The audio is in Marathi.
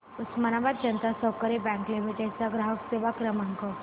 उस्मानाबाद जनता सहकारी बँक लिमिटेड चा ग्राहक सेवा क्रमांक